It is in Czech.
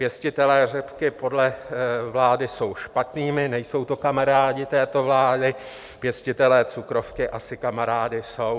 Pěstitelé řepky podle vlády jsou špatnými, nejsou to kamarádi této vlády, pěstitelé cukrovky asi kamarády jsou.